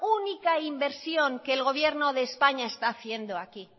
única inversión que es gobierno de españa está haciendo aquí